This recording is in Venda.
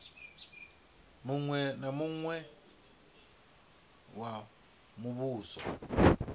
muṅwe na muṅwe wa muvhuso